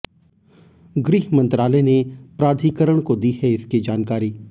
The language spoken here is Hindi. गृह मंत्रालय ने प्राधिकारण को दी है इसकी जानकारी